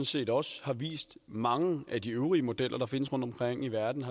set også har vist mange af de øvrige modeller der findes rundtomkring i verden